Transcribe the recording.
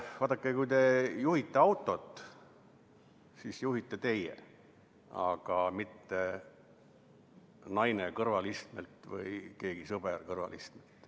Vaadake, kui te juhite autot, siis juhitegi teie, aga mitte naine või keegi sõber kõrvalistmelt.